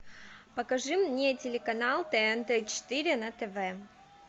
покажи мне телеканал тнт четыре на тв